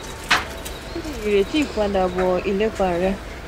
ki ni ireti ipadabọ ilepa rẹ?